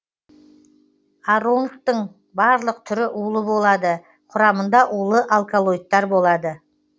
ароннктің барлық түрі улы болады құрамында улы алколоидтар болады